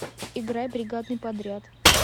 играй бригадный подряд